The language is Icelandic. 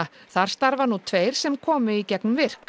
þar starfa nú tveir sem komu í gegnum virk